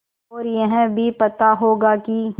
और यह भी पता होगा कि